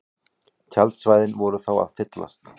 Tjaldsvæðin voru þá að fyllast